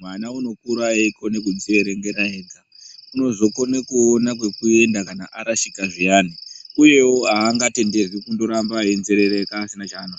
mwana uno kura eikona kudzi erengera ega unozokone kuona kwekuenda kana arashika zviyani uyewo aanga tenderwi kundo ramba eyi nzerereka pasina cha anoziya.